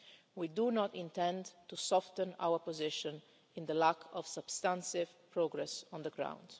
We do not intend to soften our position while there is no substantive progress on the